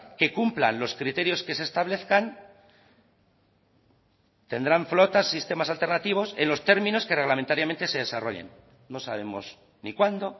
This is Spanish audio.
que cumplan los criterios que se establezcan tendrán flotas sistemas alternativos en los términos que reglamentariamente se desarrollen no sabemos ni cuándo